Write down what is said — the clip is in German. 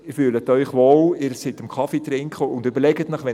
Sie fühlen sich wohl, Sie trinken einen Kaffee.